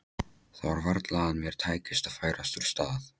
Það var varla að mér tækist að færast úr stað.